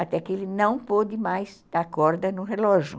Até que ele não pôde mais dar corda no relógio.